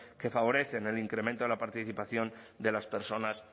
que favorecen el incremento de la participación de las personas